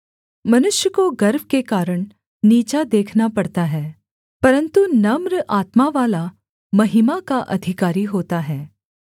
मनुष्य को गर्व के कारण नीचा देखना पड़ता है परन्तु नम्र आत्मावाला महिमा का अधिकारी होता है